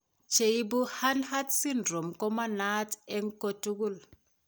Che ebu Hanhart syndrome ko manaat eng' kotugul.